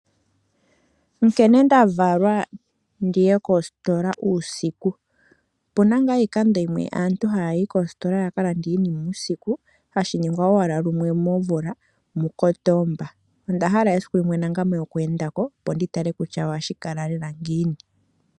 Nkene nda valwa ndi ye kositola uusiku. Opu na ngaa iikando yimwe aantu haya yi koositola yakalande iikutu , hashi ningwa owala lumwe momvula muKotomba. Onda hala esiku limwe oku enda ko opo ndi tale kutya ohashi kala shi li ngiini.